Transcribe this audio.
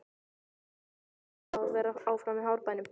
Hefur Fjalar áhuga á að vera áfram í Árbænum?